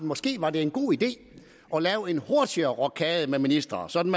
måske var en god idé at lave en hurtigere rokade med ministre sådan